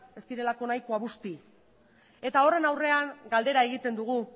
ez direlako nahikoa busti eta horren aurrean galdera egiten dugu